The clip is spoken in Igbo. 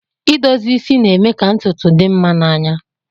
Idozi isi na-eme ka ntutu dị mma n'anya